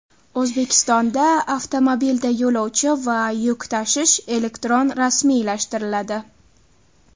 O‘zbekistonda avtomobilda yo‘lovchi va yuk tashish elektron rasmiylashtiriladi.